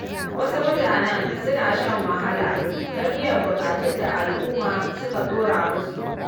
Wasu mutane suna shan wahala don biyan buƙatun da al’umma suka ɗora musu.